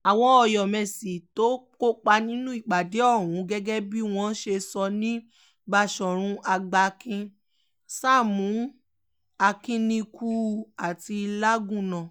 àwọn ọ̀yọ́mẹ́sì tó kópa nínú ìpàdé ọ̀hún gẹ́gẹ́ bí wọ́n ṣe sọ ní báṣọ̀run àgbàkìn sámù akínníkù àti lagúnná